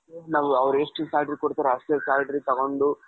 ಅವರು ಎಷ್ಟು salary ಕೊಡ್ತಾರೋ ಅಷ್ಟೆ salary ತಗೊಂಡು,